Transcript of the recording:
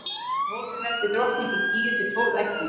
í hólfið verpir drottningin tíu til tólf eggjum